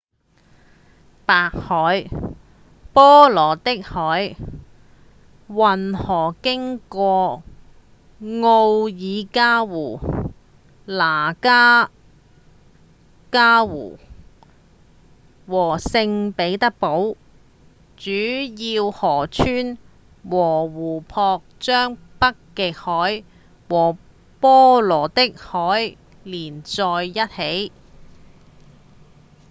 白海-波羅的海運河經過奧涅加湖、拉多加湖和聖彼得堡主要以河川和湖泊將北極海和波羅的海連在一起